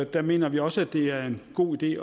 der mener vi også at det er en god idé